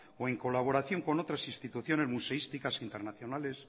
o en colaboración con otras instituciones museísticas internacionales